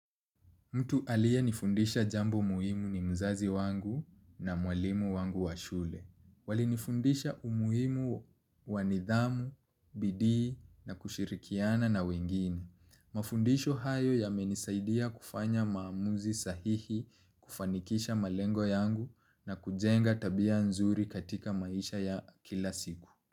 Mtu aliyenifundisha jambo muhimu ni mzazi wangu na mwalimu wangu wa shule. Walinifundisha umuhimu wa nidhamu, bidii na kushirikiana na wengine. Mafundisho hayo yamenisaidia kufanya maamuzi sahihi, kufanikisha malengo yangu na kujenga tabia nzuri katika maisha ya kila siku.